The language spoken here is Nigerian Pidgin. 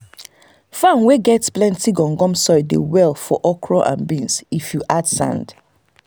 farm wey get plenty gum gum soil dey do well for okra and beans if you add sand.